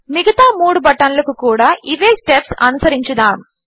మిగతా మూడు బటన్లకు కూడా ఇవే స్టెప్స్ అనుసరించుదాము